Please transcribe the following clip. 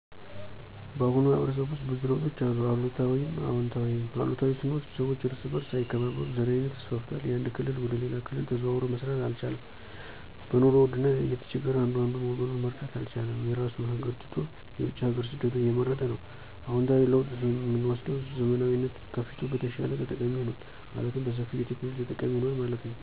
ባሁኑ ማህበረሰብ ውስጥ ብዙ ለውጦች አሉ። አሉታዊም አወንታዊም፦ አሉታዊ ስንወስድ ሰወች እርስ በርሥ አይከባበሩም፣ ዘረኝነት ተስፋፍቷል፣ ያንድ ክልል ወደ ሌላ ክልል ተዘዋዉሮ መስራት አልቻለም፣ በኑሮ ውድነት እየተቸገረ አንዱ አንዱን ወገኑን መርዳት አልቻለም፣ የራሡን ሀገር ትቶ የውጭ ሀገር ስደትን እየመረጠ ነው። አወንታዊ ለውጥ የምወስደዉ ዘመናዊነት ከፊቱ በተሻለ ተጠቃሚ ሆኗል። ማለትም በሠፊዉ የቴክኖሎጂ ተጠቃሚ ሁኗል ማለት ነዉ።